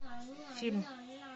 фильм